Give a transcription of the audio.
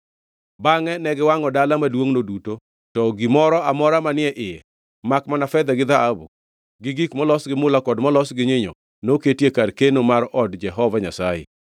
Bangʼe ne giwangʼo dala maduongʼno duto, to gi gimoro amora manie iye, makmana fedha gi dhahabu, gi gik molos gi mula kod molos gi nyinyo noketi e kar keno mar od Jehova Nyasaye.